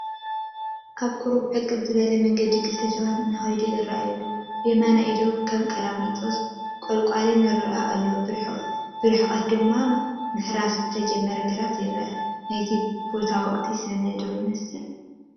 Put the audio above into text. ኣብ ቁሩብ ዕቅብ ዝበለ መንገዲ ክልተ ሰባት እንትኸዱ ይራኣዩ፡፡ ብየማናይ ኢዶም ከም ቀላሚጦስ፣ ቆለቋልን ይረአዩ ኣለው፡፡ ብርሕቐት ድማ ምሕራስ ዝተጀመሩ ግራውቲ ይራኣዩ፡፡ ናይቲ ቦታ ወቕቲ ሰነ ዶ ይመስል ?